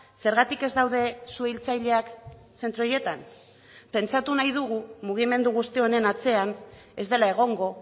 zergatik ez daude suhiltzaileak zentro horietan pentsatu nahi dugu mugimendu guzti honen atzean ez dela egongo